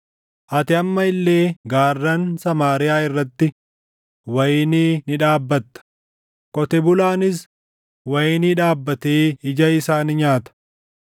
Ati amma illee gaarran Samaariyaa irratti wayinii ni dhaabbatta; qotee bulaanis wayinii dhaabbatee ija isaa ni nyaata.